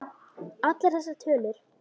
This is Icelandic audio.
Allar þessar tölur.